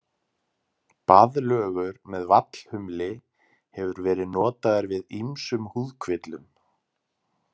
Baðlögur með vallhumli hefur verið notaður við ýmsum húðkvillum.